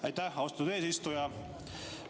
Aitäh, austatud eesistuja!